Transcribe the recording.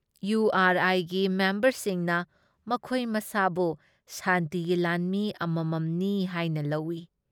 ꯏꯌꯨ ꯑꯥꯔ ꯑꯥꯏꯒꯤ ꯃꯦꯝꯕꯔꯁꯤꯡꯅ ꯃꯈꯣꯏ ꯃꯁꯥꯕꯨ ꯁꯥꯟꯇꯤꯒꯤ ꯂꯥꯟꯃꯤ ꯑꯃꯃꯝꯅꯤ ꯍꯥꯏꯅ ꯂꯧ ꯫